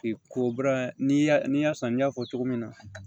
Ko bɔra ni y'a san n y'a fɔ cogo min na